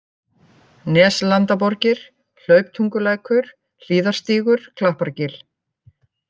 Neslandaborgir, Hlauptungulækur, Hlíðarstígur, Klappargil